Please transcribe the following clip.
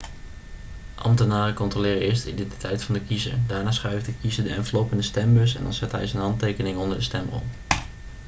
ambtenaren controleren eerst de identiteit van de kiezer daarna schuift de kiezer de envelop in de stembus en dan zet hij zijn handtekening onder de stemrol